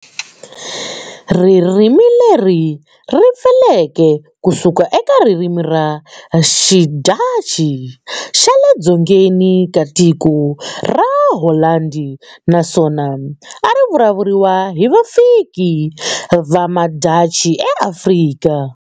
Ririmileri ripfuleke kusuka eka ririmi ra xiDhachi xa le dzongeni ka tiko ra Holandi naswona arivulavuriwa hi vafiki vamaDhachi eAfrika.